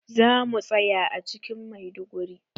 Za mu tsaya a cikin Maiduguri.